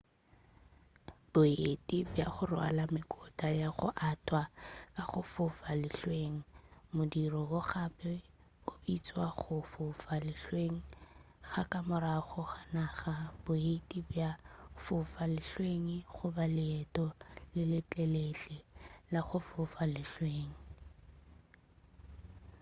boeti bja go rwala mekotla ya go athwa ka go fofa lehlweng modiro wo gape o bitšwa go fofa lehlweng ga ka morago ga naga boeti bja go fofa lehlweng goba leeto le letelele la go fofa lehlweng